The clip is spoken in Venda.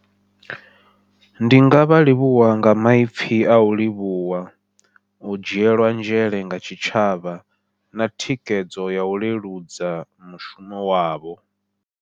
Ndi ngavha livhuwa nga maipfhi au livhuwa, u dzhielwa nzhele nga tshitshavha na thikedzo yau leludza mushumo wavho.